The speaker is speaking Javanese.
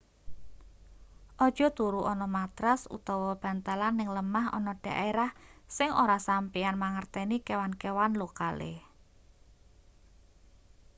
aja turu ana matras utawa bantalan ning lemah ana daerah sing ora sampeyan mangerteni kewan-kewan lokale